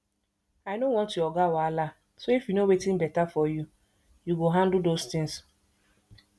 i no want our oga wahala so if you know wetin beta for you you go handle those things